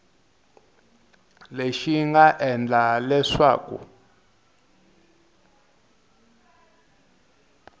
lexi xi nga endla leswaku